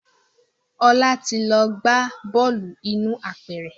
Ọlá ti lọ gbá bọ́ọ̀lù inú apẹ̀rẹ̀